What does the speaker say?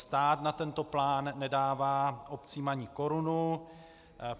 Stát na tento plán nedává obcím ani korunu.